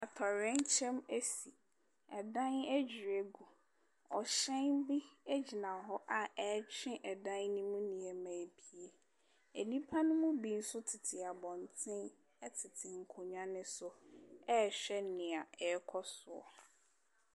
Atoyerɛnkyɛm asi. Dan adwiri agu. Ɔhyɛn bi gyina hɔ a ɛretwe dan no mu nneɛma yi bi. Nnipa no mu bi nso tete abɔnten tete nkonnwa no so rehwɛ nea ɛrekɔ so.